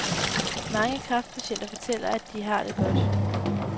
Mange kræftpatienter fortæller, at de har det godt.